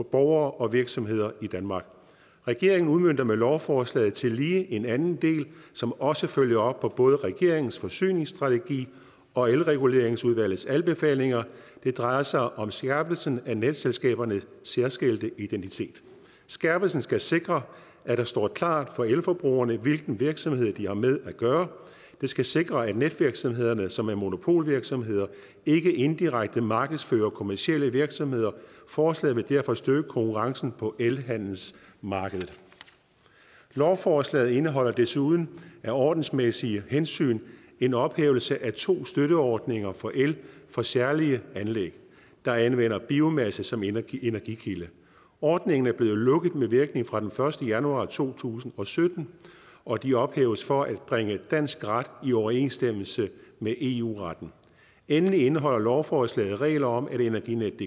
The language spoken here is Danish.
borgere og virksomheder i danmark regeringen udmønter med lovforslaget tillige en anden del som også følger op på både regeringens forsyningsstrategi og elreguleringsudvalgets anbefalinger det drejer sig om skærpelsen af netselskabernes særskilte identitet skærpelsen skal sikre at det står klart for elforbrugerne hvilken virksomhed de har med at gøre det skal sikre at netvirksomhederne som er monopolvirksomheder ikke indirekte markedsfører kommercielle virksomheder forslaget vil derfor støtte konkurrencen på elhandelsmarkedet lovforslaget indeholder desuden af ordensmæssige hensyn en ophævelse af to støtteordninger for el for særlige anlæg der anvender biomasse som energikilde ordningerne er blevet lukket med virkning fra den første januar to tusind og sytten og de ophæves for at bringe dansk ret i overensstemmelse med eu retten endelig indeholder lovforslaget regler om at energinetdk